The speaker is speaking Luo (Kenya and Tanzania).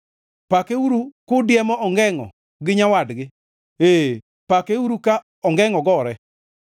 pakeuru kudiemo ongengʼo gi nyawadgi, ee, pakeuru ka ongengʼo gore.